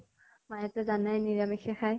মায়েটো জানাই নিৰামিষে খায়।